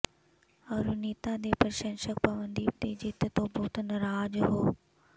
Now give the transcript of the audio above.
ਅਰੁਣਿਤਾ ਦੇ ਪ੍ਰਸ਼ੰਸਕ ਪਵਨਦੀਪ ਦੀ ਜਿੱਤ ਤੋਂ ਬਹੁਤ ਨਾਰਾਜ਼ ਹੋ